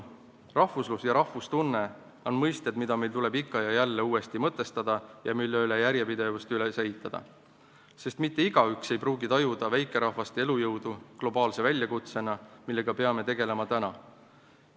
"Rahvuslus" ja "rahvustunne" on mõisted, mida meil tuleb ikka ja jälle uuesti mõtestada ning millele järjepidevus üles ehitada, sest mitte igaüks ei pruugi tajuda väikerahvaste elujõudu globaalse väljakutsena, millega peame tegelema täna.